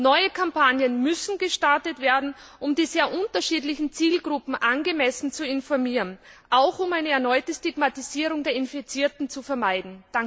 Neue Kampagnen müssen gestartet werden, um die sehr unterschiedlichen Zielgruppen angemessen zu informieren, auch um eine erneute Stigmatisierung der Infizierten zu vermeiden.